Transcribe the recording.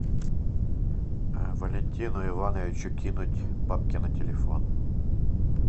валентину ивановичу кинуть бабки на телефон